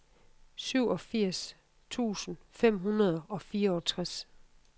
syvogfirs tusind fem hundrede og fireogtres